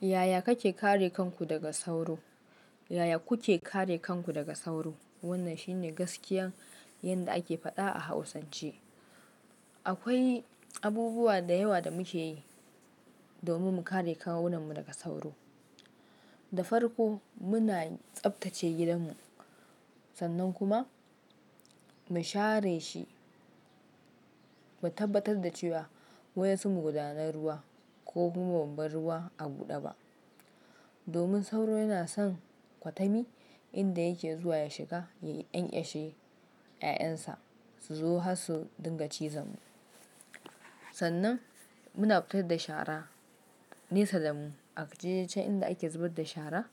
Yaya kake kare kanku daga sauro? Yaya kuke kare kanku daga sauro? Wannan shine gaskiyan yadda ake faɗa a Hausance. Akwai abubuwa da yawa da muke yi domin mu kare kawunnanmu daga sauro. Da farko muna tsaftace gidanmu sannan kuma mu share shi, mu tabbatar da cewa wadansu maguɗunan ruwa ko kuma bamu bar ruwa a buɗe ba. Domin sauro yana son kwatami inda yake zuwa ya shiga, ya ƙyankeshe 'ya'yansa su zo harsu dinga cizon mu. Sannan muna fittar da shara nesa damu a je can inda ake zubar da shara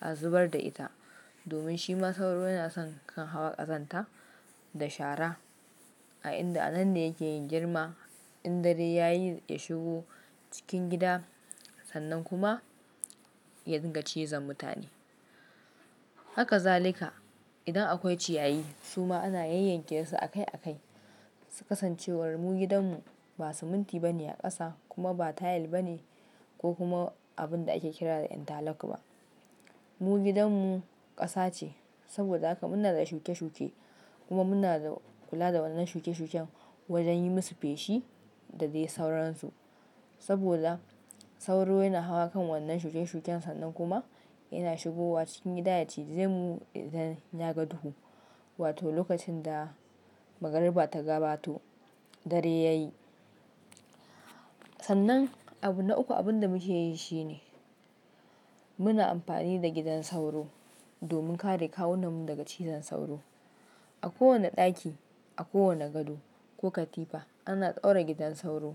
a zubar da ita. Domin shi ma sauro yana son kan hawa ƙazanta da shara a inda anan ne yake yin girma in dare yayi ya shigo cikin gida sannan kuma ya dinga cizon mutane. Haka zalika idan akwai ciyayi su ma ana yanyanke su akai akai. Kasance war mu gidanmu ba siminti bane a ƙasa kuma ba tayil bane ko kuma abun da ake kira da interlock ba. Mu gidanmu ƙasa ce saboda haka muna da shuke shuke kuma muna da kula da wannan shuke shuken wajen yi musu feshi da dai sauransu. Saboda sauro yana hawa kan wannan shuken shuken sannan kuma yana shigowa cikin gida ya cije mu idan ya ga duhu wato lokacin da magariba ta gabato dare yayi. Sannan abu na uku abin da muke yi shine muna amfani da gidan sauro domin kare kawunnanmu daga cizon sauro. A kowane ɗaki, a kowane gado ko katifa ana daura gidan sauro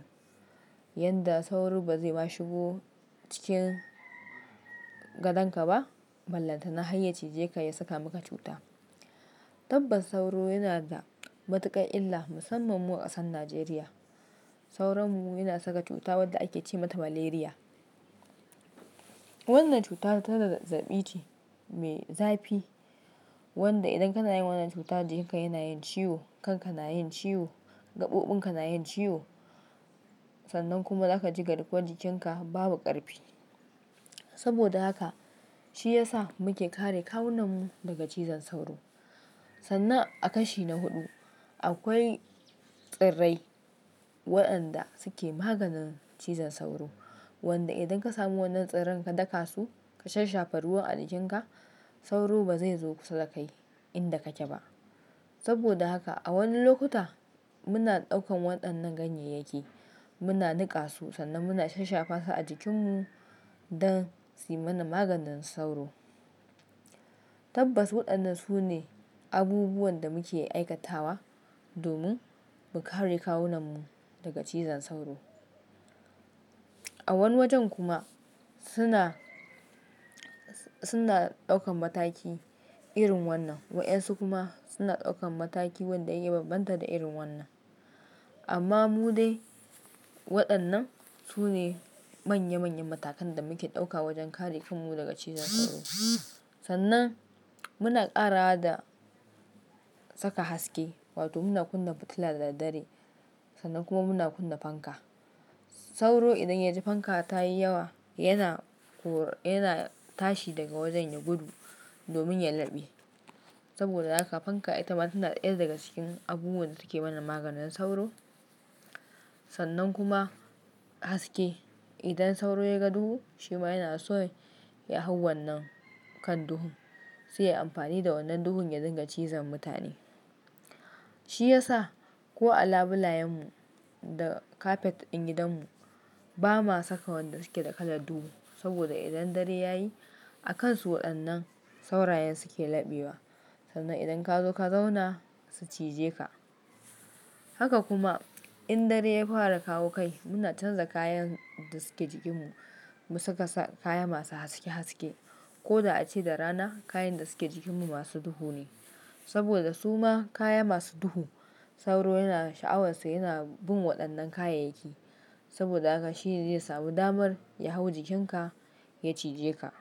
yadda sauro ba zai ma shigo cikin gadonka ba. Ballantana harya cije ka ya saka maka cuta. Tabbas sauro yana da matuƙar illa musamman mu ƙasar Najeriya. Sauronmu yana saka cuta wadda ake ce mata maleriya. Wannan cutar ta da zazzabi ce me zafi wanda idan kana yin wannan cuta jikinka yana yin ciwo, kanka nayin ciwo, gaɓoɓin ka nayin ciwo sannan kuma zaka ji garkuwar jikinka babu ƙarfi. Saboda haka shi ya sa muke kare kawunanmu daga cizon sauro. Sannan a kashi na huɗu, akwai tsirrai waɗanda suke maganin cizon sauro wanda idan ka samu wannan tsirran ka daka su ka shashafa ruwan a jikin ka sauro ba zai zo kusa da kai inda kake ba. Saboda haka a wani lokuta muna ɗaukan waɗannan ganyeyyaki muna niƙa su sannan muna shashafasu a jikinmu don suyi mana maganin sauro. Tabbas waɗannan su ne abubuwan da muke aikatawa domin mu kare kawunanmu daga cizon sauro. A wani wajen kuma suna, suna ɗaukan mataki irin wannan waɗansu kuma suna ɗaukan mataki wanda ya bambanta da irin wannan. Amma mu dai waɗannan su ne manya manyan matakan da muke ɗauka wajen kare kanmu daga cizon sauro. Sannan muna ƙarawa da saka haske wato muna kunna fitila da daddare sannan kuma muna kunna fanka. Sauro idan ya ji fanka ta yi yawa yana kor-- yana tashi daga wajen ya gudu domin ya laɓe. Saboda haka fanka ita ma ta daya ga cikin abubuwan da suke mana maganin sauro. Sannan kuma haske idan sauro ya ga duhu shi ma yana son ya hau wannan kan duhun. Sai yayi amfani da wannan duhun ya dinga cizon mutane. Shi ya sa ko a labulayen mu da kafet ɗin gidanmu ba ma saka wanda suke da kalar duhu saboda idan dare yayi a kansu waɗannan saurayen suke laɓewa. Sannan idan ka zo ka zauna su cije ka. Haka kuma in dare ya fara kawo kai muna canza kayan da suke jikinmu mu saka kaya masu haske haske. Ko da ace da rana kayan da suke jikinmu masu duhu ne saboda su ma kaya masu duhu sauro yana sha'awarsa yana bin waɗannan kayayyaki. Saboda haka shi ne zai samu damar ya hau jikin ka ya cije ka.